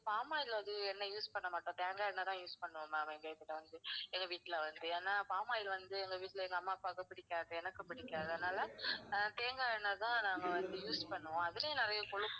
palm oil அது எண்ணெய் வந்து use பண்ணமாட்டோம். தேங்காய் எண்ணெய் தான் use பண்ணுவோம் ma'am எங்க வீட்டுல வந்து. என் வீட்டுல வந்து ஏன்னா palm oil வந்து எங்க வீட்டுல வந்து எங்க அம்மா, அப்பாக்கு பிடிக்காது, எனக்கும் பிடிக்காது. அதுனால தேங்காய் எண்ணெய் தான் நாங்க வந்து use பண்ணுவோம். அதுலேயும் நிறையா கொழுப்பு